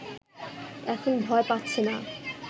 এখন ভয় পাচ্ছে না